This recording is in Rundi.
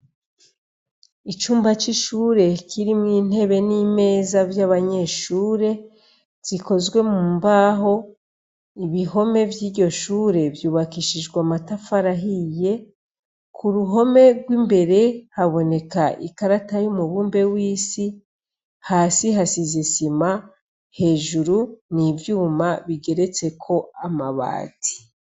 Icumba c'ishure kirimwo intebe n'imeza vy'abanyeshure zikozwe mu mbaho ibihome vy'iryo shure vyubakishijwe matafarahiye ku ruhome rw'imbere haboneka ikarata y'umubumbe w'isi hasi hasizese zima hejuru ni ivyuma bigeretseko amabati.